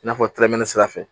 I n'a fɔ tɛrɛmɛ sira fɛ